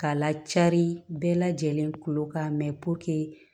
K'a lacari bɛɛ lajɛlen kolo kan mɛ puruke